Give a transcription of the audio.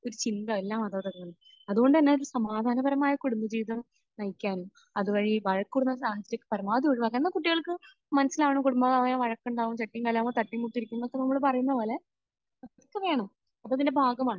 ഒരു ചിന്ത എല്ലാ മാതാപിതാക്കൾക്കും അതുകൊണ്ട് തന്നെ സമാധാനപരമായ കുടുംബജീവിതം നയിക്കാനും അതുവഴി വഴക്കുകൂടുന്ന സാഹചര്യം പരാമാവധി ഒഴിവാക്കാനും എന്നാൽ കുട്ടികൾക്ക് മനസ്സിലാകണം കുടുംബമായാൽ വഴക്കുണ്ടാകും, ചട്ടിയും കലവും ആവുമ്പോൾ തട്ടിയും മുട്ടിയും ഇരിക്കും എന്നൊക്കെ നമ്മൾ പറയുന്നത് പോലെ അതൊക്കെ വേണം. അത് അതിന്റെ ഭാഗമാണ്.